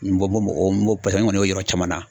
N bɔ n b'o n b'o paseke n kɔni y'o ye yɔrɔ caman na